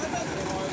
Allaha qurban olum.